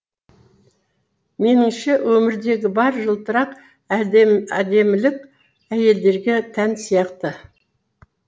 меніңше өмірдегі бар жылтырақ әдемілік әйелдерге тән сияқты